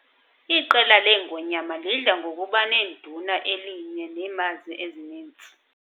Iqela leengonyama lidla ngokuba neduna elinye neemazi ezininzi.